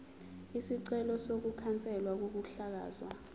isicelo sokukhanselwa kokuhlakazwa